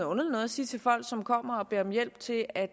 underligt noget at sige til folk som kommer og beder om hjælp til at